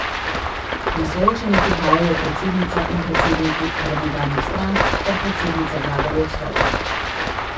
Na soočenje prihajajo predsednica in predsedniki parlamentarnih strank ter predsednica vlade v odstopu.